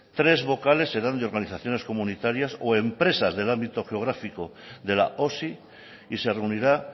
tres vocales serán de organizaciones comunitarias o empresas del ámbito geográfico de la osi y se reunirá